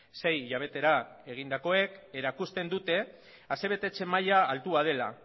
sei hilabetera egindakoak erakusten dute asebetetze maila altua dela